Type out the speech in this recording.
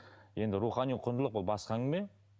енді рухани құндылық ол басқа әңгіме